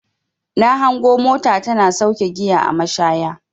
Na hango mota tana sauke giya a mashaya.